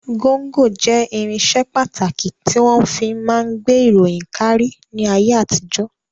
Gọ́ńgọ jẹ́ irinṣẹ́ pàtàkì tí wọ́n fi máa ń gbé ìròyìn káárí ní ayé àtijọ́.